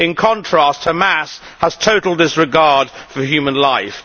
in contrast, Hamas has a total disregard for human life.